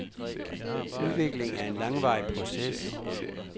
Udvikling er en langvarig proces.